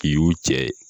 K'i y'u cɛ ye